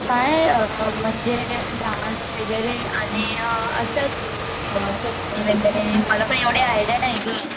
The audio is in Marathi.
काय असत म्हणजे डांस वैगेरे मला पण एवढी आइडिया नाहीये ग